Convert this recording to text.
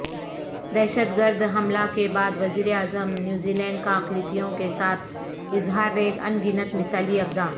دہشت گردحملہ کے بعد وزیراعظم نیوزی لینڈکا اقلیتوں کے ساتھ اظہاریگانگت مثالی اقدام